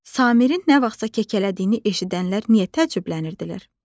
Samirin nə vaxtsa kəkələdiyini eşidənlər niyə təəccüblənirdilər?